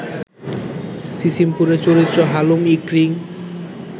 সিসিমপুরের চরিত্র হালুম, ইকরি